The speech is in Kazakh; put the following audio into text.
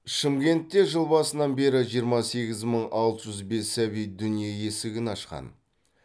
шымкентте жыл басынан бері жиырма сегіз мың алты жүз бес сәби дүниеге есігін ашқан